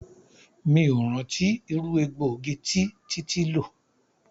3. Mi o rántí irú egbògi tí títí lò.